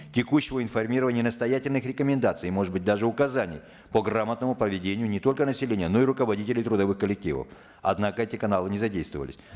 текущего информирования настоятельных рекомендаций может быть даже указаний по грамотному поведению не только населения но и руководителей трудовых коллективов однако эти каналы не задействовались